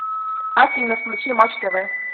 афина включи матч тв